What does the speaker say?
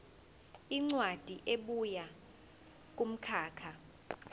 incwadi ebuya kumkhakha